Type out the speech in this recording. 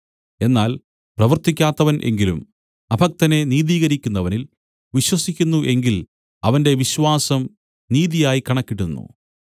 എന്നാൽ പ്രവർത്തിക്കാത്തവൻ എങ്കിലും അഭക്തനെ നിതീകരിക്കുന്നവനിൽ വിശ്വസിക്കുന്നു എങ്കിൽ അവന്റെ വിശ്വാസം നീതിയായി കണക്കിടുന്നു